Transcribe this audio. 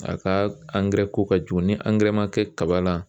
A ka ko ka jugu ni ma kɛ kaba la